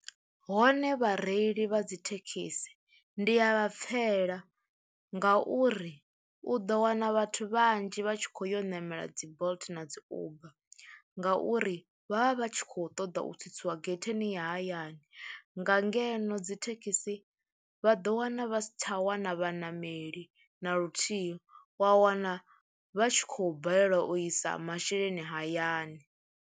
Hone vhareili vha dzi thekhisi ndi a vha pfhela nga uri u ḓo wana vhathu vhanzhi vha tshi khou yo ṋamela dzi Bolt na dzi Uber ngauri vha vha vha tshi khou ṱoḓa u u tsitsiwa getheni ya hayani nga ngeno dzi thekhisi vha ḓo wana vha sa tsha wana vhaṋameli na luthihi wa wana vha tshi khou balelwa u isa masheleni hayani.